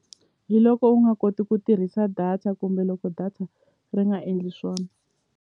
Hi loko u nga koti ku tirhisa data kumbe loko data ri nga endli swona.